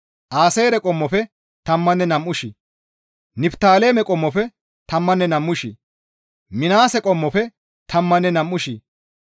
Aaseere qommofe tammanne nam7u shii, Niftaaleme qommofe tammanne nam7u shii, Minaase qommofe tammanne nam7u shii,